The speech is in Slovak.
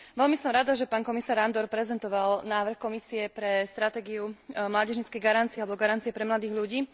Veľmi som rada, že pán komisár Andor prezentoval návrh Komisie pre stratégiu mládežníckej garancie alebo garancie pre mladých ľudí.